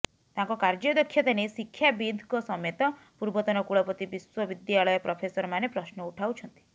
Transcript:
ତାଙ୍କ କାର୍ଯ୍ୟଦକ୍ଷତା ନେଇ ଶିକ୍ଷାବିତ୍ଙ୍କ ସମେତ ପୂର୍ବତନ କୁଳପତି ବିଶ୍ବବିଦ୍ୟାଳୟ ପ୍ରଫେସରମାନେ ପ୍ରଶ୍ନ ଉଠାଉଛନ୍ତି